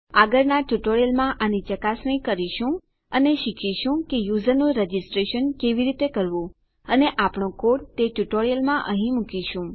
આગળના ટ્યુટોરીયલમાં આની ચકાસણી કરીશું અને શીખીશું કે યુઝરનું રજીસ્ટરેશન કેવી રીતે કરવું અને આપણો કોડ તે ટ્યુટોરીયલમાં અહીં મુકીશું